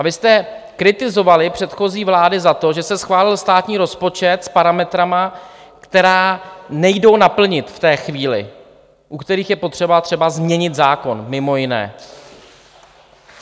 A vy jste kritizovali předchozí vlády za to, že se schválil státní rozpočet s parametry, které nejdou naplnit v té chvíli, u kterých je potřeba třeba změnit zákon mimo jiné.